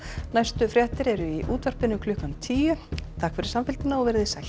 næstu fréttir eru í útvarpinu klukkan tíu takk fyrir samfylgdina og verið þið sæl